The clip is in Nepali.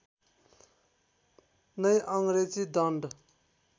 नै अङ्ग्रेजी दण्ड